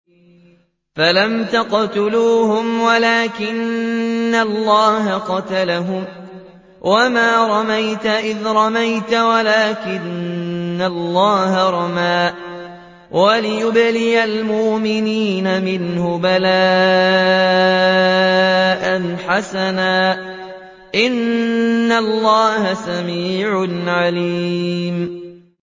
فَلَمْ تَقْتُلُوهُمْ وَلَٰكِنَّ اللَّهَ قَتَلَهُمْ ۚ وَمَا رَمَيْتَ إِذْ رَمَيْتَ وَلَٰكِنَّ اللَّهَ رَمَىٰ ۚ وَلِيُبْلِيَ الْمُؤْمِنِينَ مِنْهُ بَلَاءً حَسَنًا ۚ إِنَّ اللَّهَ سَمِيعٌ عَلِيمٌ